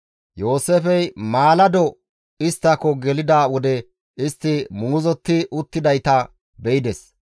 Yooseefey maalado isttako gelida wode istti muuzotti uttidayta be7ides.